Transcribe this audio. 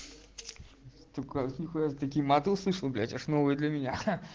сука ты такие маты услышал блять аж новые для меня